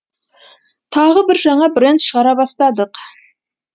тағы бір жаңа бренд шығара бастадық